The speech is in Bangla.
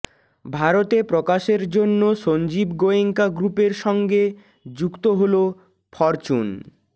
ভারতে প্রকাশের জন্য সঞ্জীব গোয়েঙ্কা গ্রূপের সঙ্গে যুক্ত হল ফরচুন